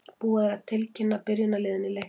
Búið er að tilkynna byrjunarliðin í leiknum.